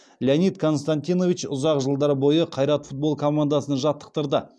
леонид константинович ұзақ жылдар бойы қайрат футбол командасын жаттықтырды